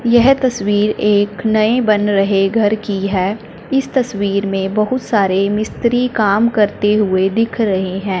यह तस्वीर एक नए बन रहे घर की है इस तस्वीर में बहुत सारे मिस्त्री काम करते हुए दिख रहे हैं।